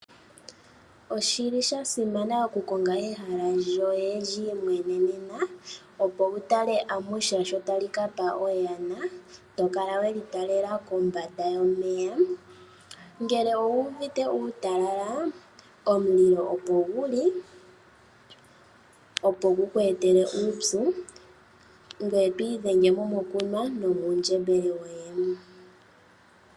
Oshili sha simana okukonga ehala lyoye lyi imwenenena opo wutale amusha sho tali kapa oyana tokala weli talela kombanda yomeya .ngele owu uvite uutalala omunino opo guli opo guku etele uupyu ngoye to idhengemo mokunwa no muundjembele woye